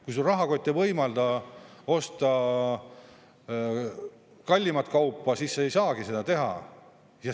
Kui sul rahakott ei võimalda osta kallimat kaupa, siis sa ei saagi seda teha.